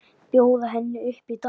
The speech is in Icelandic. Bjóða henni upp í dans!